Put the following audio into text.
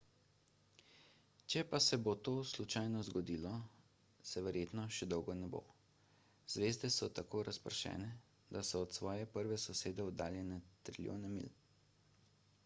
če pa se bo to slučajno zgodilo se verjetno še dolgo ne bo zvezde so tako razpršene da so od svoje prve sosede oddaljene trilijone milj